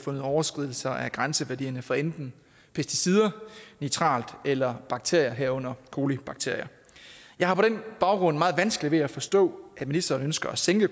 overskridelser af grænseværdierne for enten pesticider nitrat eller bakterier herunder colibakterier jeg har på den baggrund meget vanskeligt ved at forstå at ministeren ønsker at sænke